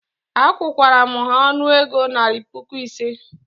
Akwụru m ha ọnụego naira puku ise